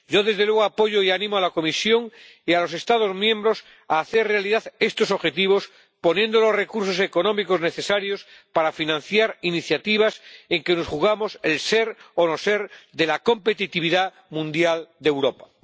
Yo, desde luego, apoyo y animo a la Comisión y a los Estados miembros a hacer realidad estos objetivos, poniendo los recursos económicos necesarios para financiar iniciativas en que nos jugamos el ser o no ser de la competitividad mundial de Europa.